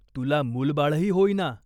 तुला मूलबाळही होईना.